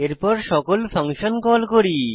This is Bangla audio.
এরপর সকল ফাংশন কল করি